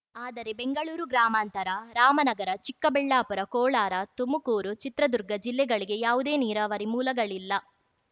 ಆದರೆ ಬೆಂಗಳೂರು ಗ್ರಾಮಾಂತರ ರಾಮನಗರ ಚಿಕ್ಕಬಳ್ಳಾಪುರ ಕೋಳಾರ ತುಮಕೂರು ಚಿತ್ರದುರ್ಗ ಜಿಲ್ಲೆಗಳಿಗೆ ಯಾವುದೇ ನೀರಾವರಿ ಮೂಲಗಳಿಲ್ಲ